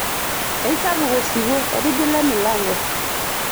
Eisapuk osiwuo etigila emilanko.